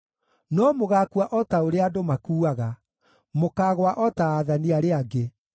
No mũgaakua o ta ũrĩa andũ makuuaga; mũkaagũa o ta aathani arĩa angĩ.”